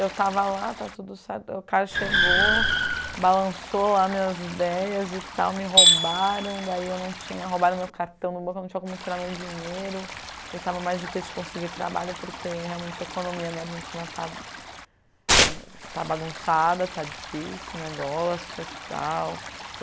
Eu estava lá, está tudo certo, o cara chegou, balançou lá minhas ideias e tal, me roubaram, daí eu não tinha, roubaram meu cartão no banco, eu não tinha como tirar meu dinheiro e estava mais difícil de conseguir trabalho porque realmente a economia da Argentina está está bagunçada, está difícil o negócio e tal.